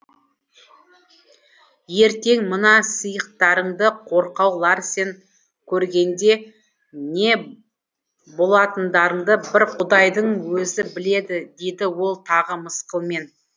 ертең мына сиықтарыңды қорқау ларсен көргенде не болатындарыңды бір құдайдың өзі біледі дейді ол тағы мысқылмен